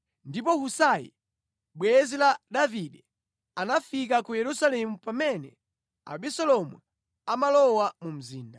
Ndipo Husai bwenzi la Davide anafika ku Yerusalemu pamene Abisalomu amalowa mu mzinda.